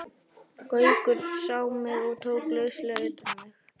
Gaukur sá mig og tók lauslega utan um mig.